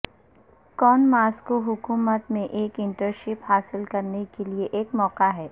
کون ماسکو حکومت میں ایک انٹرنشپ حاصل کرنے کے لئے ایک موقع ہے